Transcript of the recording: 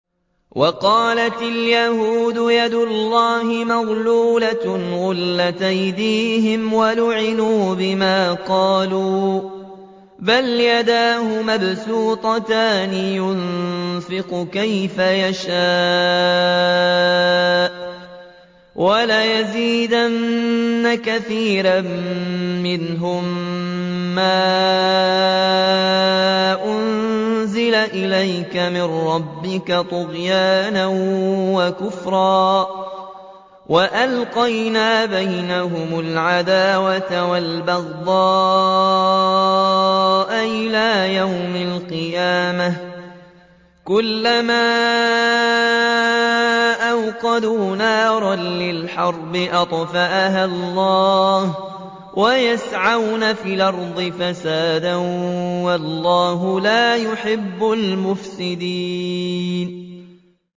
وَقَالَتِ الْيَهُودُ يَدُ اللَّهِ مَغْلُولَةٌ ۚ غُلَّتْ أَيْدِيهِمْ وَلُعِنُوا بِمَا قَالُوا ۘ بَلْ يَدَاهُ مَبْسُوطَتَانِ يُنفِقُ كَيْفَ يَشَاءُ ۚ وَلَيَزِيدَنَّ كَثِيرًا مِّنْهُم مَّا أُنزِلَ إِلَيْكَ مِن رَّبِّكَ طُغْيَانًا وَكُفْرًا ۚ وَأَلْقَيْنَا بَيْنَهُمُ الْعَدَاوَةَ وَالْبَغْضَاءَ إِلَىٰ يَوْمِ الْقِيَامَةِ ۚ كُلَّمَا أَوْقَدُوا نَارًا لِّلْحَرْبِ أَطْفَأَهَا اللَّهُ ۚ وَيَسْعَوْنَ فِي الْأَرْضِ فَسَادًا ۚ وَاللَّهُ لَا يُحِبُّ الْمُفْسِدِينَ